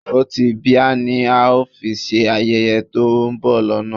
Ọtí bíà ni a ó fi ṣe ayẹyẹ to ń bọ̀ lọ́nà